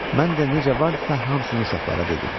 Mən də necə varıdısa, hamısını uşaqlara dedim.